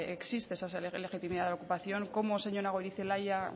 existe esa legitimidad de ocupación cómo señora goirizelaia